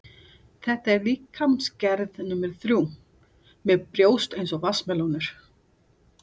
Þetta er líkamsgerð númer þrjú, með brjóst eins og vatnsmelónur.